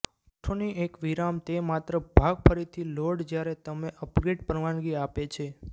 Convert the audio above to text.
પૃષ્ઠોની એક વિરામ તે માત્ર ભાગ ફરીથી લોડ જ્યારે તમે અપગ્રેડ પરવાનગી આપે છે